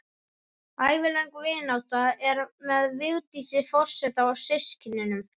Ævilöng vinátta er með Vigdísi forseta og systkinunum